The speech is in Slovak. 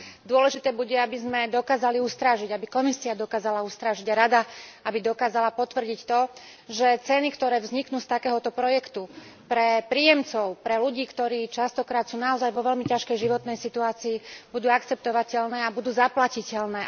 Dôležité bude, aby sme dokázali ustrážiť, aby Komisia dokázala ustrážiť a aby Rada dokázala potvrdiť to, že ceny, ktoré vzniknú z takéhoto projektu pre príjemcov, pre ľudí, ktorí sú častokrát naozaj vo veľmi ťažkej životnej situácii, budú akceptovateľné a budú zaplatiteľné.